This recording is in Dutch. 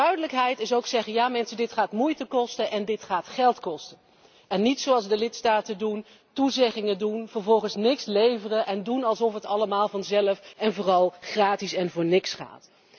Duidelijkheid is ook zeggen Ja, mensen, dit gaat moeite en geld kosten en niet zoals de lidstaten doen toezeggingen doen maar vervolgens niet over de brug komen en doen alsof het allemaal vanzelf en vooral gratis en voor niks gaat.